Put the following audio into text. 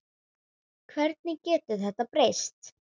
Hvernig getur þetta breyst?